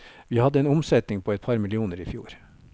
Vi hadde en omsetning på et par millioner i fjor.